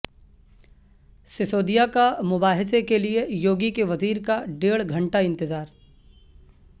سسودیا کا مباحثہ کیلئے یوگی کے وزیر کا ڈیڑھ گھنٹہ انتظار